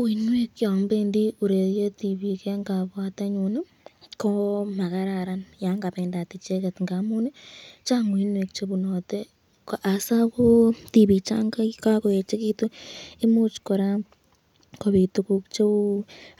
Uinwek yon bendi ureryet tibik eng kabwatenyun ii ko makararan yan kabendat icheket ngamun Chang uinwek chebunate hasa ko tibik changakoechekitu imuch kora kobit tukuk cheu